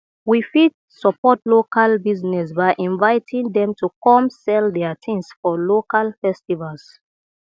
we fit support local business by inviting dem to come sell their things for local festivals